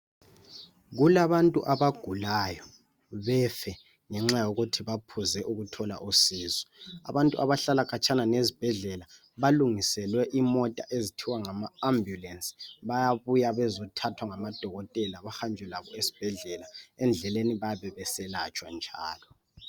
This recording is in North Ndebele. Kulababantu abagulayo befe ngenxa yokuthi baphuzile ukuthola usizo Abantu abahlala khatshana nezibhedlela balungiselwe imota ezithiwa ngama ambulance Bayabuya bezothathwa ngamadokotela bahanjwe labo ezibhedlela .Endleleni bayabe beselatshwa njalo